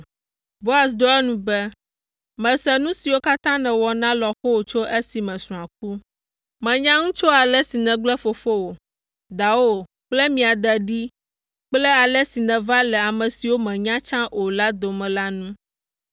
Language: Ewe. Boaz ɖo eŋu be, “Mese nu siwo katã nèwɔ na lɔ̃xowò tso esime srɔ̃a ku. Menya nu tso ale si nègblẽ fofowò, dawò kple mia de ɖi kple ale si nèva le ame siwo mènya tsã o dome la ŋu.